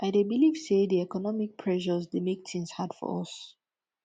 i dey believe say di economic pressures dey make tings hard for us